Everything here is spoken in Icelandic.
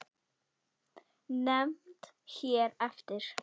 Nefnd hér eftir